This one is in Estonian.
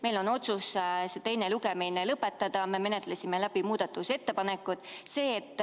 Meil on otsus teha ettepanek teine lugemine lõpetada, me oleme muudatusettepanekud läbi arutanud.